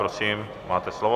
Prosím, máte slovo.